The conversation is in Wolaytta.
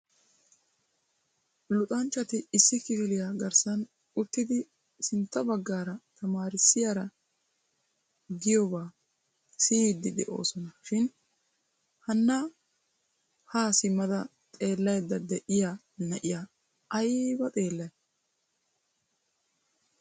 Luxanchchati issi kifiliya garssan uttidi sintta baggaara tamarissiyaara giyoba siyyidi de'oosona shin hanna ha simmada xeelaydda de'iya na'aya aybba xeellay?